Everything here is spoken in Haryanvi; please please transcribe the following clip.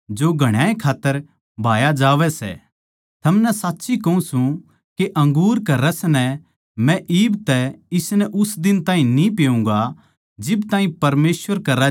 थमनै साच्ची कहूँ सूं के अंगूर के रस नै मै इब तै इसनै उस दिन तक न्ही पिऊँगा जिब ताहीं परमेसवर के राज्य म्ह थारै गेल्या नया रस न्ही पिऊँ